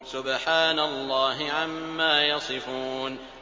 سُبْحَانَ اللَّهِ عَمَّا يَصِفُونَ